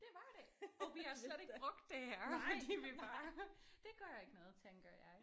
Det var det og vi har slet ikke brugt det her fordi vi bare. Det gør ikke noget tænker jeg